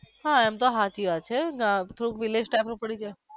હા એમ તો હાચી વાત છે. હા થોડુંક village type નું પડી જાય.